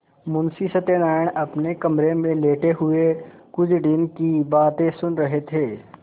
मुंशी सत्यनारायण अपने कमरे में लेटे हुए कुंजड़िन की बातें सुन रहे थे